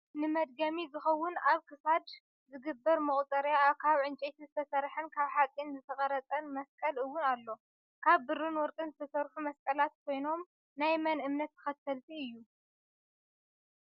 ንመድገሚ ዝከውን ኣንብ ክሳድካ ዝግበር መቁፀርያ ካብ ዕንጨይቲ ዝተሰረሐን ካብ ሓፂን ዝተሰረሐን መሰቀል እውን ኣሎ። ካብ ብርን ወርቅን ዝተሰረሑ መስቀላት ኮይኖም ናይ መን እምነት ተከተሊቲ እዩ?